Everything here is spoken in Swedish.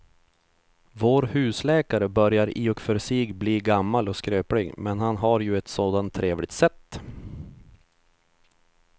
Vår husläkare börjar i och för sig bli gammal och skröplig, men han har ju ett sådant trevligt sätt!